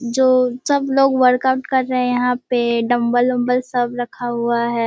जो सब लोग वर्कआउट कर रहे यहाँ पे डम्बल उम्बल सब रखा हुआ है।